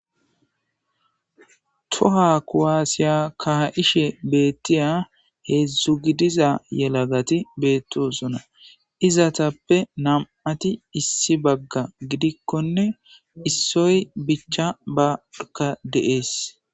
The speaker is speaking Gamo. Toha kuwaasiya kaa'ishe beettiya heedzdzu gidiza yelagati beettosona izatappe nam'ati issi bagga gidikkonne issoy bicha baka deees